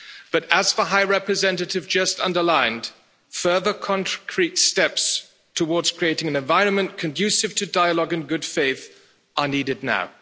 But, as the High Representative just underlined, further concrete steps towards creating an environment conducive to dialogue in good faith are needed now.